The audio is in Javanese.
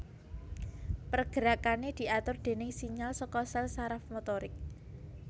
Pergerakané diatur déning sinyal saka sèl saraf motorik